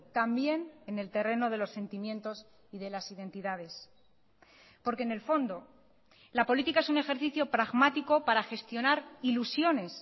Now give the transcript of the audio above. también en el terreno de los sentimientos y de las identidades porque en el fondo la política es un ejercicio pragmático para gestionar ilusiones